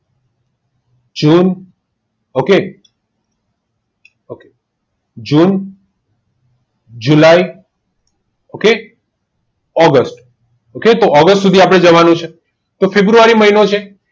જૂન ok okay June જુલાઈ okay August સુધી આપણે જવાનું છે તો ફેબ્રુઆરી મહિનો છે